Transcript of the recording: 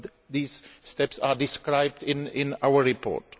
these steps are described in our report.